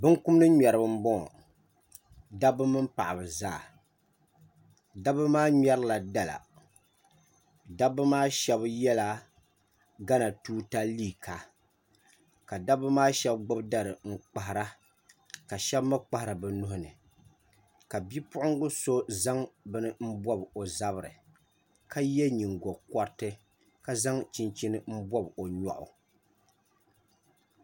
Binkumdi ŋmɛribi n boŋo dabba mini paɣaba zaa dabba maa ŋmɛrila dala dabba maa shab yɛla gana tuuta liiga ka dabba maa shab gbubi dari n kpahara ka shab mii kpahari bi nuuni ka bipuɣungi so zaŋ bini n bob o zabiri ka yɛ nyingokoriti ka zaŋ chinchin n bob o nyoɣu